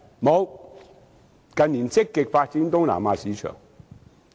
沒有，近年更在香港積極發展東南亞市場。